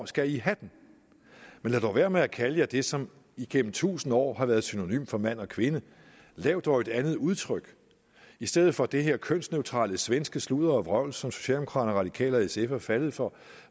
skal i have den men lad dog være med at kalde jer det som igennem tusind år har været synonymt for mand og kvinde lav dog et andet udtryk i stedet for det her kønsneutrale svenske sludder og vrøvl som socialdemokraterne de radikale og sf er faldet for